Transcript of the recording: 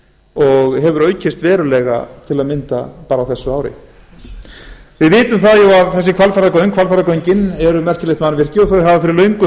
og hefur aukist verulega til að mynda á þessu ári við vitum það að hvalfjarðargöngin eru merkilegt mannvirki og þau hafa fyrir löngu